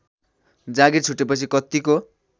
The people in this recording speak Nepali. जागीर छुटेपछि कतिको